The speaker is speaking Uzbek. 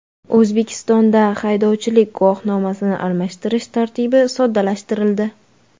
O‘zbekistonda haydovchilik guvohnomasini almashtirish tartibi soddalashtirildi .